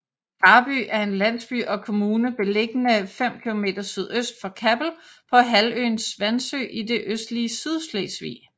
Karby er en landsby og kommune beliggende 5 km sydøst for Kappel på halvøen Svansø i det østlige Sydslesvig